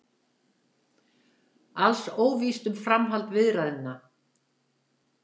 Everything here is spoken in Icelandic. Alls óvíst um framhald viðræðna